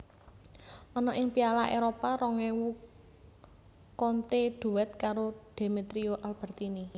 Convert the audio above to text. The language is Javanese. Ana ing Piala Éropah rong ewu Conte duet karo Demetrio Albertini